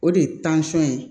O de ye ye